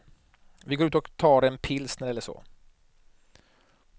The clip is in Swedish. Vi går ut och tar en pilsner eller så.